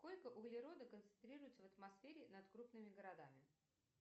сколько углерода концентрируется в атмосфере над крупными городами